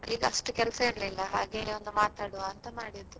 ಈಗಷ್ಟು ಕೆಲಸ ಇರ್ಲಿಲ್ಲ ಹಾಗೆ ಒಂದು ಮಾತಾಡುವ ಅಂತ ಮಾಡಿದ್ದು.